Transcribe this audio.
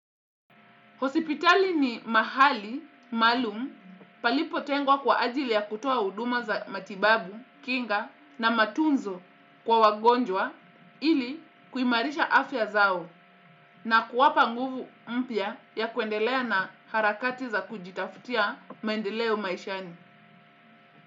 Hospitali ni mahali maalum palipo tengwa kwa ajili ya kutoa huduma za matibabu, kinga na matunzo kwa wagonjwa ili kuimarisha afya zao na kuwapa nguvu mpya ya kuendelea na harakati za kujitafutia maendeleo maishani.